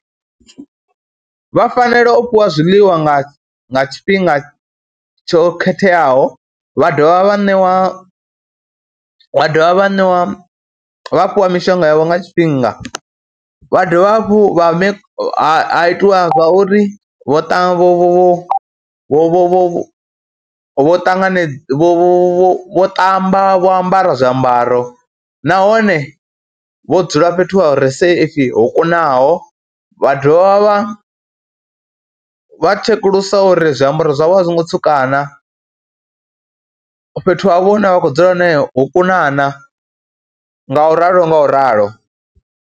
Vha fanela u fhiwa zwiḽiwa nga nga tshifhinga tsho khetheaho, vha dovha vha ṋewa, wa dovha vha ṋew, a vha fhiwa mishonga yavho nga tshifhinga. Vha dovha hafhu vha vhe ha ha itiwa uri vho vho vho vho vho vho vho ṱangane, vho vha vho ṱamba, vho ambara zwiambaro nahone vho dzula fhethu hu re safe, ho kunaho. Vha dovha vha vha tshekulusa uri zwiambaro zwavho a zwo ngo tsuka na, fhethu havho hune vha khou dzula hone ho kuna na, ngauralo ngauralo.